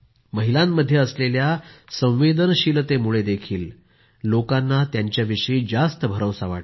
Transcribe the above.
महिलांमध्ये असलेल्या संवेदनशीलतेमुळेही लोकांना त्यांच्याविषयी जास्त भरवसा वाटतो